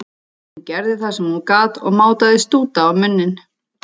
Hún gerði það sem hún gat og mátaði stúta á munninn.